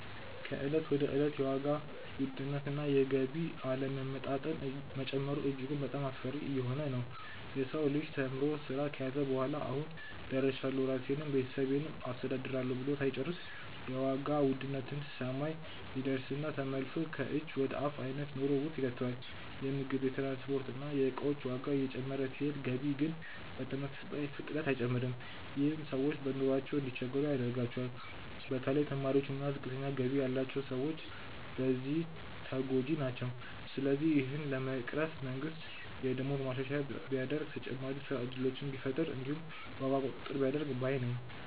ከእለት ወደ እለት የዋጋ ውድነት እና የገቢ አለመመጣጠን መጨመሩ እጅግ በጣሞ አስፈሪ እየሆነ ነዉ። የሰው ልጅ ተምሮ ስራ ከያዘ በኋላ "አሁን ደርሻለሁ ራሴንም ቤተሰቤንም አስተዳድራለሁ" ብሎ ሳይጨርስ የዋጋ ውድነት ሰማይ ይደርስና ተመልሶ ከእጅ ወደ አፍ አይነት ኑሮ ውስጥ ይከተዋል። የምግብ፣ የትራንስፖርት እና የእቃዎች ዋጋ እየጨመረ ሲሄድ ገቢ ግን በተመሳሳይ ፍጥነት አይጨምርም። ይህም ሰዎች በኑሯቸው እንዲቸገሩ ያደርገዋል። በተለይ ተማሪዎች እና ዝቅተኛ ገቢ ያላቸው ሰዎች በዚህ ተጎጂ ናቸው። ስለዚህ ይህንን ለመቅረፍ መንግስት የደሞዝ ማሻሻያ ቢያደርግ፣ ተጨማሪ የስራ እድሎችን ቢፈጥር እንዲሁም የዋጋ ቁጥጥር ቢያደርግ ባይ ነኝ።